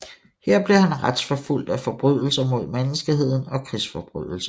Her blev han retsforfulgt for forbrydelser mod menneskeheden og krigsforbrydelser